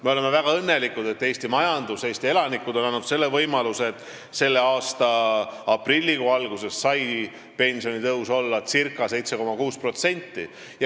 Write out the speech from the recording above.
Me oleme väga õnnelikud, et Eesti majandus ja Eesti elanikud on andnud selle võimaluse, et selle aasta aprilli alguses sai pensionitõus olla ca 7,6%.